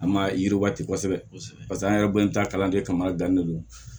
An ma yiriwati kosɛbɛ paseke an yɛrɛ bɛ taa kalan kɛ ka mariya di ne ma